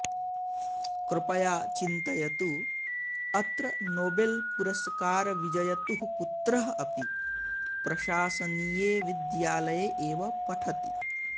कृपया चिन्तयतु अत्र नोबेलपुरस्कारविजयतुः पुत्रः अपि प्रशासनीये विद्यालये एव पठति